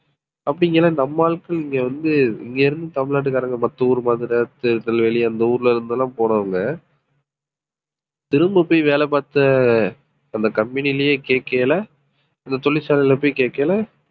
அப்படிங்கையில நம்ம ஆட்கள் இங்க வந்து இங்க இருந்து தமிழ்நாட்டுக்காரங்க மத்த ஊரு மதுரை, திருநெல்வேலி அந்த ஊர்ல இருந்து எல்லாம் போனவங்க திரும்ப போய் வேலை பார்த்த அந்த company யிலயே கேட்கையில இந்த தொழிற்சாலையில போய் கேட்கையில